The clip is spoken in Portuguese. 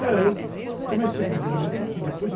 Não, eu comecei, primeiramente, aqui, depois eu...